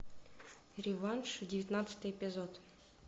реванш девятнадцатый эпизод